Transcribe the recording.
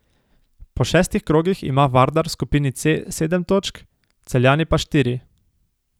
Po šestih krogih ima Vardar v skupini C sedem točk, Celjani pa štiri.